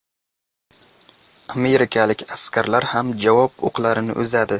Amerikalik askarlar ham javob o‘qlarini uzadi.